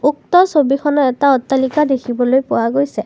উক্ত ছবিখনত এটা অট্টালিকা দেখিবলৈ পোৱা গৈছে।